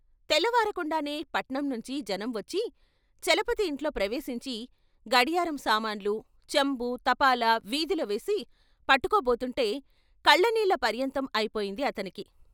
తెల్లవారకుండానే పట్నం నుంచి జనం వచ్చి చలపతి ఇంట్లో ప్రవేశించి గడియారం సామాన్లు, చెంబూ తపాలా వీధిలో వేసి పట్టుకుబోతుంటే కళ్ళ నీళ్ళ పర్యంతం అయిపోయింది అతనికి.